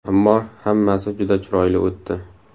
Ammo hammasi juda chiroyli o‘tdi.